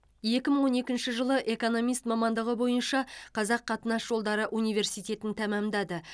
екі мың он екінші жылы экономист мамандығы бойынша қазақ қатынас жолдары университетін тәмамдады